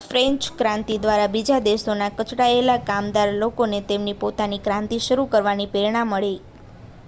French ક્રાંતિ દ્વારા બીજા દેશોના કચડાયેલા કામદાર લોકોને તેમની પોતાની ક્રાંતિ શરૂ કરવાની પ્રેરણા પણ મળી